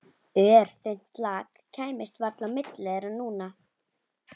Örþunnt lak kæmist varla á milli þeirra núna.